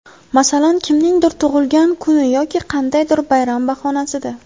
Masalan, kimningdir tug‘ilgan kuni yoki qandaydir bayram bahonasida.